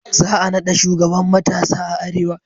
Za a naɗa shugaban matasa a arewa